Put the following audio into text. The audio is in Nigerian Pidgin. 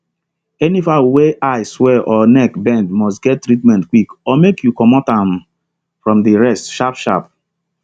any fowl wey eye swell or neck bend must get treatment quick or make you comot um am from the rest sharp sharp